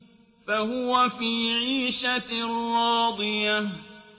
فَهُوَ فِي عِيشَةٍ رَّاضِيَةٍ